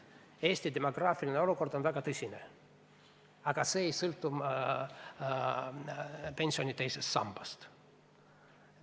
Eesti demograafiline olukord on väga tõsine, aga see ei sõltu teisest pensionisambast.